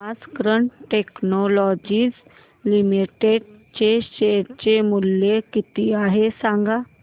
आज cat technologies limited चे share चे मूल्य किती आहे सांगा